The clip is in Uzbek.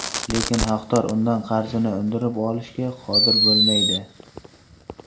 Lekin haqdor undan qarzini undirib olishga qodir bo‘lmaydi.